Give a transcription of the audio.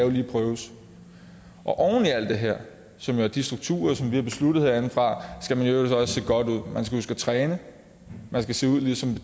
prøves oven i alt det her som jo er de strukturer som vi har besluttet herindefra skal man i øvrigt også se godt ud man skal træne man skal se ud ligesom